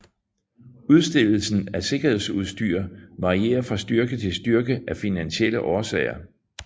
Udstedelsen af sikkerhedsudstyr varierer fra styrke til styrke af finansielle årsager